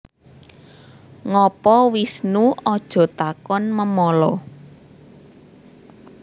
Ngopo Wisnu Aja takon memala